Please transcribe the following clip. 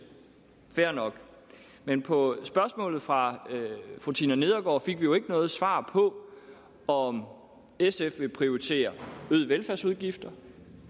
fair nok men på spørgsmålet fra fru tina nedergaard fik vi jo ikke noget svar på om sf vil prioritere øgede velfærdsudgifter